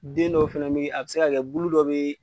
Den dɔw fana be yen a bi se ka kɛ bulu dɔw be yen